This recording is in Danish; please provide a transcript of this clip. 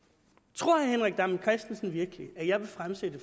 tror herre henrik dam kristensen virkelig at jeg vil fremsætte